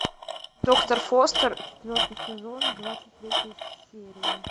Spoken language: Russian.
доктор фостер четвертый сезон двадцать третья серия